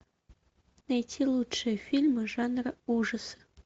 найти лучшие фильмы жанра ужасы